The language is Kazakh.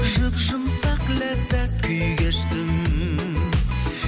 жұп жұмсақ ләззат күй кештім